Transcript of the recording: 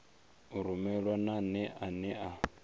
u rumelwa nane ane a